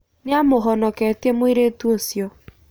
Nĩamũhonoketie mũirĩtu ũcio.